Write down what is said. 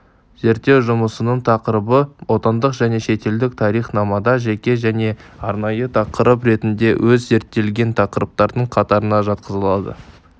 зерттеу жұмысының тақырыбы отандық және шетелдік тарихнамада жеке және арнайы тақырып ретінде аз зерттелген тақырыптардың қатарына жатқызылады